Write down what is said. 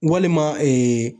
Walima